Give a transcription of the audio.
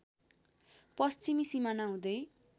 पश्चिमी सिमाना हुँदै